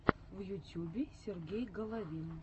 на ютьюбе сергей головин